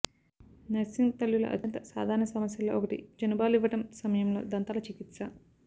nursing తల్లుల అత్యంత సాధారణ సమస్యలలో ఒకటి చనుబాలివ్వడం సమయంలో దంతాల చికిత్స